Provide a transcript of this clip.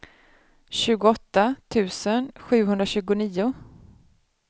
tjugoåtta tusen sjuhundratjugonio